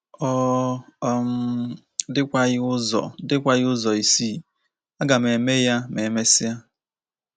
Ọ um dịkwaghị ụzọ dịkwaghị ụzọ ịsị, ‘ Aga m eme ya ma e mesịa. '